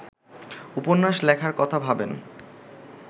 উপন্যাস লেখার কথা ভাবেন